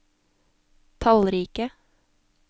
tallrike